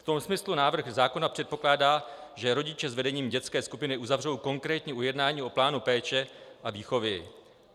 V tom smyslu návrh zákona předpokládá, že rodiče s vedením dětské skupiny uzavřou konkrétní ujednání o plánu péče a výchovy.